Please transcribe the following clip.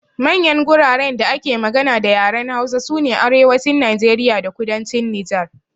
Manyan guraren da ake magana da yaren Hausa sune Arewacin Najeriya da Kudancin Nijar.